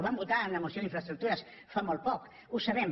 ho vam votar en una moció d’infraestructures fa molt poc ho sabem